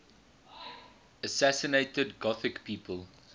assassinated gothic people